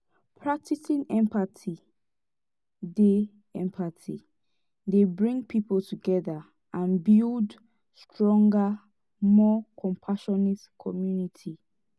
practicing empathy dey empathy dey bring people together and build stronger more compassionate community.